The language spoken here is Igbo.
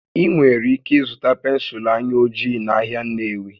Ị nwere ike ịzụta pensụl anya ojii n'ahịa Nnewi